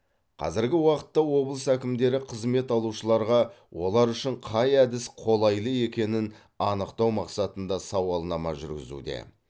қазіргі уақытта облыс әкімдіктері қызмет алушыларға олар үшін қай әдіс қолайлы екенін анықтау мақсатында сауалнама жүргізуде